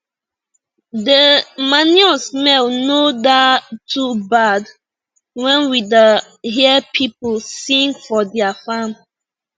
de manure smell no da too bad when we da hear pipu sing for dia farm